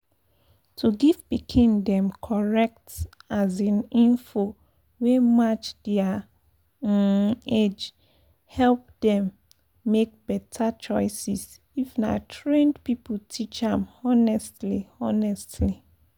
to give pikin dem correct um info wey match their um age help dem make better choices if na trained people teach am honestly honestly.